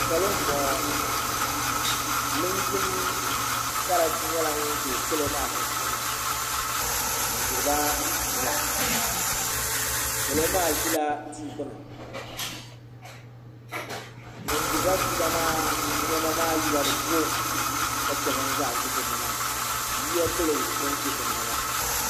salo n boŋo linjin karachi nyɛla ŋun ʒɛ salo maa sunsuuni n diriba fiila salo maa ʒila tia gbuni ŋun diriba fiila maa niɛma maa yila di ko ka chɛ bin zaa ʒi dinni maa yiya gili bin ʒi dinni maa